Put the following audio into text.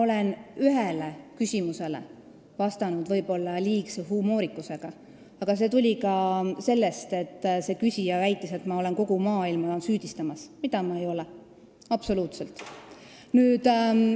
Ma ühele küsimusele vastasin võib-olla liigse humoorikusega, aga see tuli sellest, et see küsija väitis, nagu ma süüdistaksin kogu maailma, mida ma ei tee, absoluutselt.